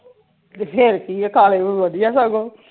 ਤੇ ਫੇਰ ਕੀ ਆ ਕਾਲੇ ਵਧੀਆ ਸਗੋਂ